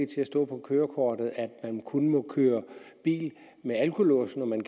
til at stå på kørekortet at man kun må køre bil med alkolås når man